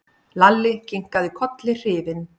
Lalli kinkaði kolli hrifinn.